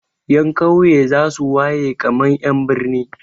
Ƴan ƙauye za su waye kamar ƴan birni.